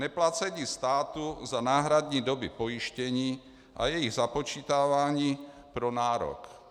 Neplacení státu za náhradní doby pojištění a jejich započítávání pro nárok.